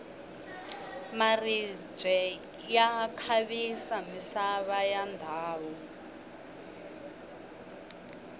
maribye ya khavisa misava ya ndhawu